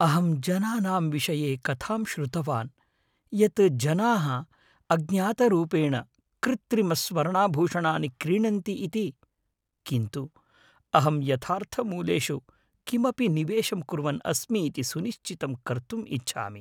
अहं जनानाम् विषये कथां श्रुतवान् यत् जनाः अज्ञातरूपेण कृत्रिमस्वर्णाभूषणानि क्रीणन्ति इति । किन्तु अहं यथार्थमूल्येषु किमपि निवेशं कुर्वन् अस्मि इति सुनिश्चितं कर्तुम् इच्छामि।